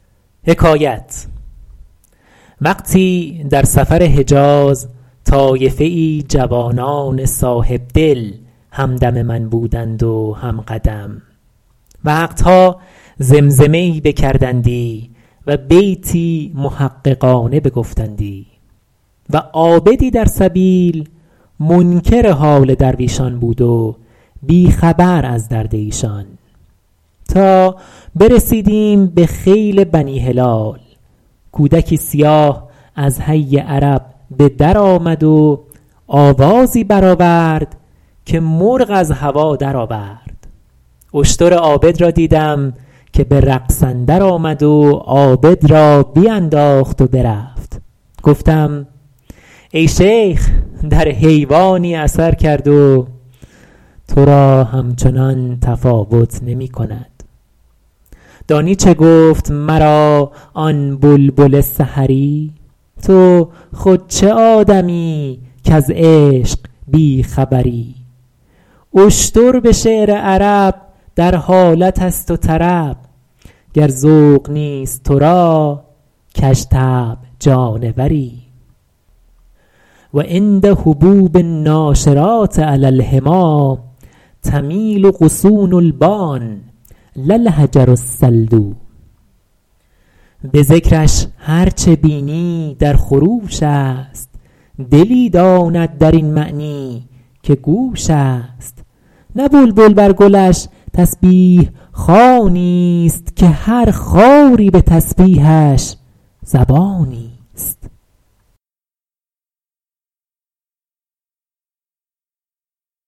وقتی در سفر حجاز طایفه ای جوانان صاحبدل هم دم من بودند و هم قدم وقت ها زمزمه ای بکردندی و بیتی محققانه بگفتندی و عابدی در سبیل منکر حال درویشان بود و بی خبر از درد ایشان تا برسیدیم به خیل بنی هلال کودکی سیاه از حی عرب به در آمد و آوازی بر آورد که مرغ از هوا در آورد اشتر عابد را دیدم که به رقص اندر آمد و عابد را بینداخت و برفت گفتم ای شیخ در حیوانی اثر کرد و تو را همچنان تفاوت نمی کند دانی چه گفت مرا آن بلبل سحری تو خود چه آدمیی کز عشق بی خبری اشتر به شعر عرب در حالت است و طرب گر ذوق نیست تو را کژطبع جانوری و عند هبوب الناشرات علی الحمیٰ تمیل غصون البان لا الحجر الصلد به ذکرش هر چه بینی در خروش است دلی داند در این معنی که گوش است نه بلبل بر گلش تسبیح خوانی است که هر خاری به تسبیحش زبانی است